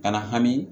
Kana hami